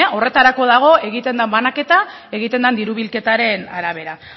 horretarako dago egiten den banaketa egiten den diru bilketaren arabera